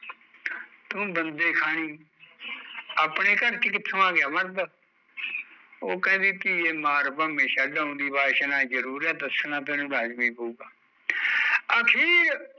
ਤੂ ਬੰਦੇ ਖਾਣੀ ਅਪਣੇ ਘਰ ਚ ਕਿਥੋਂ ਆਗਿਆ ਮਰਦ, ਉਹ ਕਹਿੰਦੀ ਮਾਰ ਭਾਂਵੇ ਛੱਡ ਆਉਂਦੀ ਵਾਸ਼ਨਾ ਜਰੂਰ ਐ ਦੱਸਨਾ ਤੈਨੂ ਲਾਜ਼ਮੀ ਪਊਗਾ, ਅਖੀਰ